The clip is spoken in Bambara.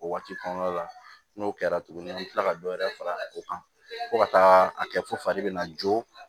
O waati kɔnɔna la n'o kɛra tuguni an bɛ tila ka dɔ wɛrɛ fara o kan fo ka taa a kɛ fo fari bɛna jɔ